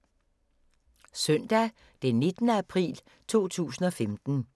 Søndag d. 19. april 2015